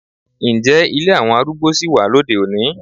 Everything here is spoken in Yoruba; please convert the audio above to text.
Ǹjẹ́ ilé àwọn arúgbó sì wà lóde-òní?